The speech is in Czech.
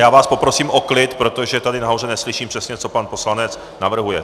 Já vás poprosím o klid, protože tady nahoře neslyším přesně, co pan poslanec navrhuje.